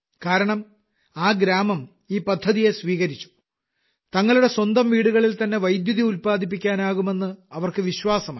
കാരണം ആ ഗ്രാമം ഈ പദ്ധതിയെ സ്വീകരിച്ചും തങ്ങളുടെ സ്വന്തം വീടുകളിൽ തന്നെ വൈദ്യുതി ഉത്പാദിപ്പിക്കാനാകുമെന്ന് അവർക്ക് വിശ്വാസമായി